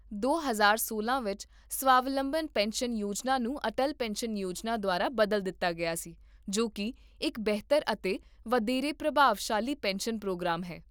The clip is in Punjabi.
ਦੋ ਹਜ਼ਾਰ ਸੋਲਾਂ ਵਿੱਚ, ਸਵਾਵਲੰਬਨ ਪੈਨਸ਼ਨ ਯੋਜਨਾ ਨੂੰ ਅਟਲ ਪੈਨਸ਼ਨ ਯੋਜਨਾ ਦੁਆਰਾ ਬਦਲ ਦਿੱਤਾ ਗਿਆ ਸੀ, ਜੋ ਕੀ ਇੱਕ ਬਿਹਤਰ ਅਤੇ ਵਧੇਰੇ ਪ੍ਰਭਾਵਸ਼ਾਲੀ ਪੈਨਸ਼ਨ ਪ੍ਰੋਗਰਾਮ ਹੈ